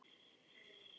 Kæra Krissa frænka.